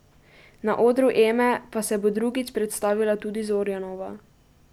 Na odru Eme pa se bo drugič predstavila tudi Zorjanova.